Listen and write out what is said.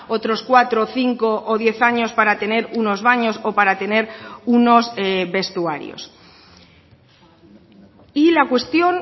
otros cuatro cinco o diez años para tener unos baños o para tener unos vestuarios y la cuestión